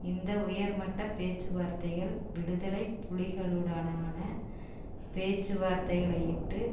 இந்த உயர்மட்ட பேச்சுவார்த்தைகள் விடுதலை புலிகளுடனான பேச்சுவார்த்தைகளையிட்டு